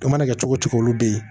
O mana kɛ cogo o cogo olu de ye